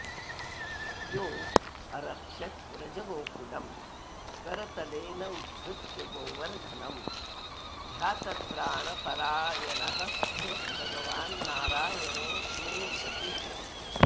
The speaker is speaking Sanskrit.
योऽरक्षद्व्रजगोकुलं करतलेनोद्धृत्य गोवर्धनं ह्यातत्राणपरायणः स भगवान्नारायणो मे गतिः